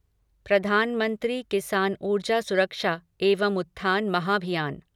प्रधानमंत्री किसान ऊर्जा सुरक्षा एवम उत्थान महाभियान